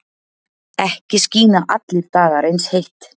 Ekki skína allir dagar eins heitt.